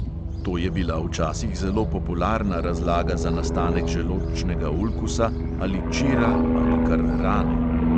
To je bila včasih zelo popularna razlaga za nastanek želodčnega ulkusa ali čira ali kar rane.